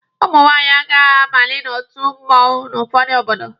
Ụmụ nwaanyị agaghị abalị n'otu mmụọnwụ n'ụfọdụ obodo.